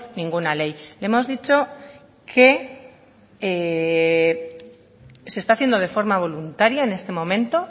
ninguna ley le hemos dicho que se está haciendo de forma voluntaria en este momento